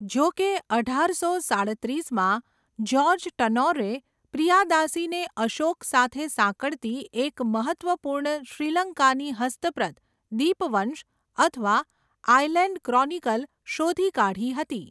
જો કે, અઢારસો સાડત્રીસમાં, જ્યોર્જ ટર્નૌરે પ્રિયાદાસીને અશોક સાથે સાંકળતી એક મહત્ત્વપૂર્ણ શ્રીલંકાની હસ્તપ્રત દીપવંશ, અથવા 'આઈલેન્ડ ક્રોનિકલ' શોધી કાઢી હતી.